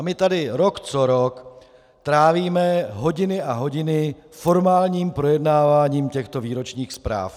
A my tady rok co rok trávíme hodiny a hodiny formálním projednáváním těchto výročních zpráv.